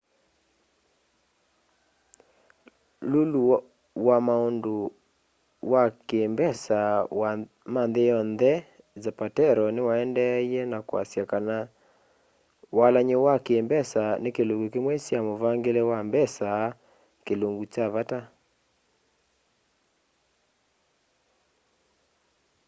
lulu wa maundu ma ki mbesa ma nthi yonthe zapatero niwaendeeie ka kwiasya kana walany'o wa ki mbesa ni kilungu kimwe kya muvangile wa mbesa kilungu kya vata